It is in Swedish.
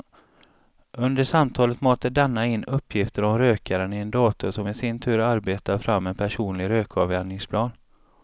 Under samtalet matar denna in uppgifter om rökaren i en dator som i sin tur arbetar fram en personlig rökavvänjningsplan.